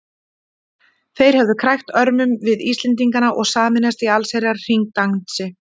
Þeir hefðu krækt örmum við Íslendingana og sameinast í allsherjar hringdansi.